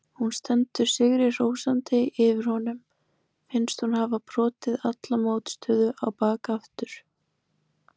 Hún stendur sigri hrósandi yfir honum, finnst hún hafa brotið alla mótstöðu á bak aftur.